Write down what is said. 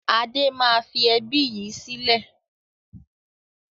Adé máa fi ẹbí yìí sílẹ̀